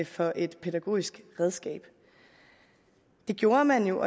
for et pædagogisk redskab det gjorde man jo